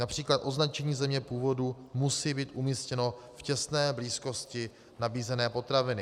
Například označení země původu musí být umístěno v těsné blízkosti nabízené potraviny.